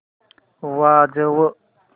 वाजव